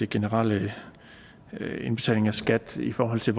generelle indbetaling af skat i forhold til